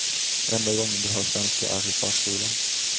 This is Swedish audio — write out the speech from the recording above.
Enda gången de hör svenska är i förskolan.